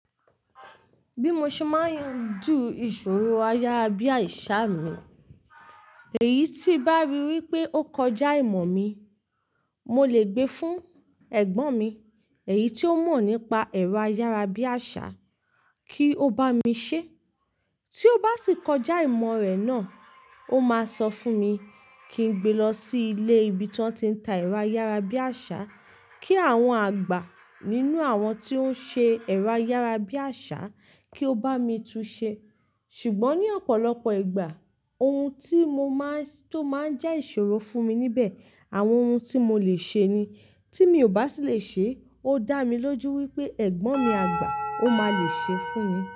Bí mo ṣe máa ń ju ìṣòro ayárabíàṣá mi, èyí tí bá rí wípé ó kọjá ìmọ̀ mi, mo lè gbé fún ẹ̀gbọ́n mi, èyí tí ó mọ̀ nípa ẹ̀rọ ayárabíàṣá kí ó bá mi ṣe. Tí ó bá sì kọjá ìmọ̀ rẹ̀ náà, ó máa sọ fún mi kí n gbe lọ sí ilé ibi tí wọ́n ti ń ta ẹ̀rọ ayárabíàṣá, kí àwọn àgbà nínú àwọn tí ó ń ṣe ẹ̀rọ ayárabíàṣá kí ó bá mi tún ṣẹ. Ṣùgbọ́n ní ọ̀pọ̀lọpọ̀ ìgbà, ohun tí mo máa ń, tó máa ń jẹ́ ìṣòro fún mi níbẹ̀, àwọn ohun tí mo lè ṣe ni. Tí mi ò bá sì lè ṣe, ó dá mi lójú wípé ẹ̀gbọ́n mi àgbà ó máa lè ṣe fún mi.